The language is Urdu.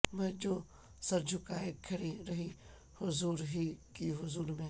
میں جو سر جھکائے کھڑی رہی حضور ہی کی حضور میں